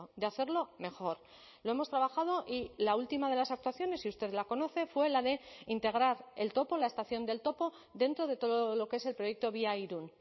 de hacerlo mejor lo hemos trabajado y la última de las actuaciones y usted la conoce fue la de integrar el topo la estación del topo dentro de todo lo que es el proyecto víairun